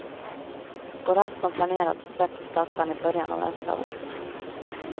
Går allt som planerat släpps plattan i början av nästa år.